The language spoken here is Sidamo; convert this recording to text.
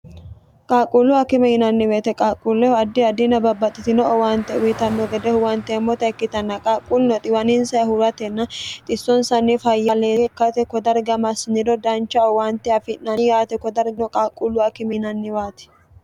qaaqquullu akime yinanniweete qaaqquullehu addi addinna babbaxxitino owaante wiitanno gede huwanteemmota ikkitanna qaaqquulno xiwaninsaahuratenna xissonsanni fayyaleeyye ikkate kodargino dancha owaante afi'nani yaate kodargino qaaqquullu akime yinanniwaati